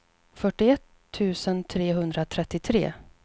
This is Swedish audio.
fyrtioett tusen trehundratrettiotre